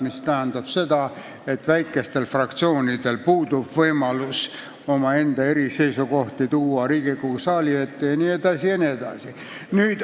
See tähendab aga seda, et väikestel fraktsioonidel puudub võimalus oma eriseisukohti Riigikogu saali ette tuua jne.